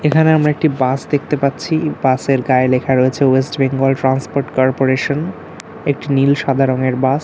এখানে আমরা একটি বাস দেখতে পাচ্ছি। বাস -এর গায়ে লেখা রয়েছে ওয়েস্ট বেঙ্গল ট্রান্সপোর্ট কর্পোরেশন একটি নীল সাদা রঙের বাস ।